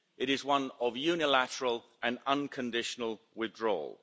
It is one of unilateral and unconditional withdrawal.